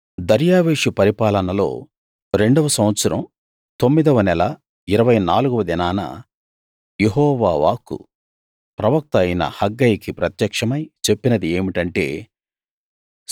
దర్యావేషు పరిపాలనలో రెండవ సంవత్సరం తొమ్మిదవ నెల ఇరవై నాలుగవ దినాన యెహోవా వాక్కు ప్రవక్త అయిన హగ్గయికి ప్రత్యక్షమై చెప్పినది ఏమిటంటే